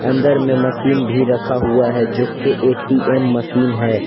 अंदर में मशीन भी रखा हुआ है जो की ए_टी_एम मशीन है।